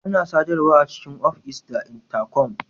Ana sadarwa a cikin of is da Intakom.